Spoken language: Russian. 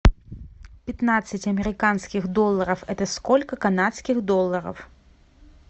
пятнадцать американских долларов это сколько канадских долларов